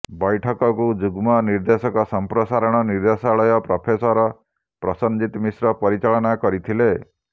ବୈଠକକୁ ଯୁଗ୍ମ ନିର୍ଦ୍ଦେଶକ ସମ୍ପ୍ରସାରଣ ନିର୍ଦ୍ଦେଶାଳୟ ପ୍ରଫେସର ପ୍ରଶନଜିତ ମିଶ୍ର ପରିଚାଳନା କରିଥିଲେ